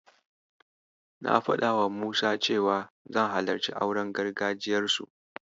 Na faɗawa Musa cewa zan halarci auren gargajiyarsu.